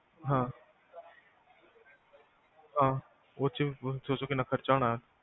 ਹਾਂ ਹਾਂ ਓਹਦੇ ਚ ਦਸੋ ਕਿਹਨਾਂ ਖਰਚਾ ਆਉਣਾ ਆ